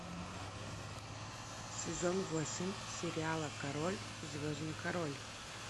сезон восемь сериала король звездный король